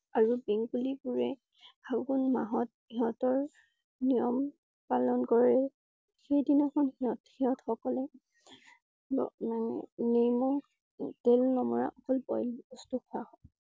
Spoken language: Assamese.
আৰু বেংগলী বোৰে ফাগুন মাহত সিহঁতৰ নিয়ম পালন কৰে। সেইদিনা খন সিহঁত~সিহঁত সকলে উম ~মানে নিমখ তেল নকৰা অকল boil বস্তু খোৱা হয়।